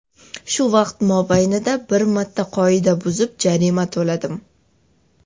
Shu vaqt mobaynida bir marta qoida buzib, jarima to‘ladim.